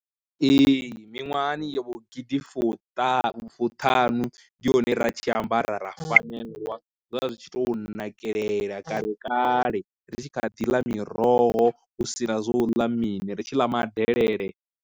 Ee, miṅwahani yo vho gidi fuṱanu fuṱhanu ndi hone ra tshi ambara ra fanelwa, zwa zwi tshi tou nakelela kale kale ri tshi kha ḓi ḽa miroho u sina zwo u ḽa mini ri tshi ḽa madelele.